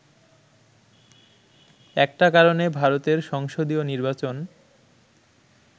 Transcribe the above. একটা কারণে ভারতের সংসদীয় নির্বাচন